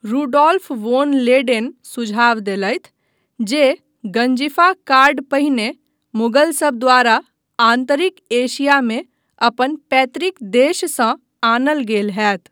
Rudolph von Leyden सुझाव देलथि जे गंजीफा कार्ड पहिने मुगलसभ द्वारा आन्तरिक एशियामे अपन पैतृक देशसँ आनल गेल होयत।